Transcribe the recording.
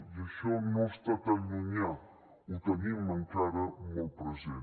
i això no està tan llunyà ho tenim encara molt present